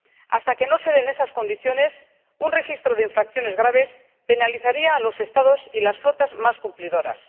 Hasta que no se den esas condiciones, un registro de infracciones graves penalizaría a los Estados y las flotas más cumplidoras.